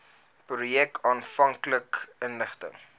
projek aanvanklik ingestel